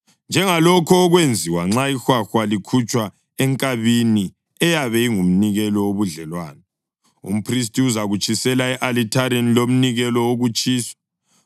njengalokho okwenziwa nxa ihwahwa likhutshwa enkabini eyabe ingumnikelo wobudlelwano. Umphristi uzakutshisela e-alithareni lomnikelo wokutshiswa.